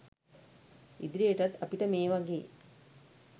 ඉදිරියටත් අපිට මේ වගේ